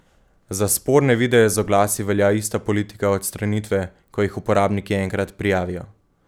Za sporne videe z oglasi velja ista politika odstranitve, ko jih uporabniki enkrat prijavijo.